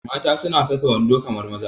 Mata suna saka wando kamar maza